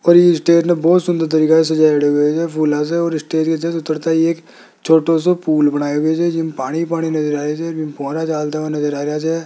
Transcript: और ये स्टेट बहुत सुंदर तरीके से सजाये हुए है फूले से और स्टेज के जस्ट उतरता एक छोटों से पूल बनाए हुए है जिसमें पानी पानी नजर आ रहा है। --